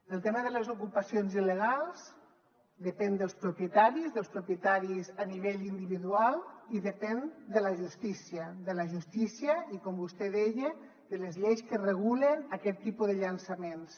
el tema de les ocupacions il·legals depèn dels propietaris dels propietaris a nivell individual i depèn de la justícia de la justícia i com vostè deia de les lleis que regulen aquest tipus de llançaments